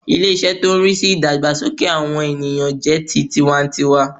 Ilé- isé tó n rí sí ìdàgbàsókè àwọn ènìyàn jẹ́ ti tiwa n tiwa